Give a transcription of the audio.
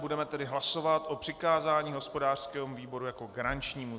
Budeme tedy hlasovat o přikázání hospodářskému výboru jako garančnímu.